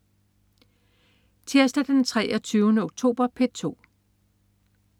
Tirsdag den 23. oktober - P2: